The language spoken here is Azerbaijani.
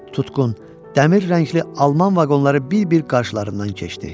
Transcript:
Tutqun, dəmir rəngli alman vaqonları bir-bir qarşılarından keçdi.